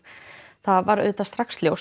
það var auðvitað strax ljóst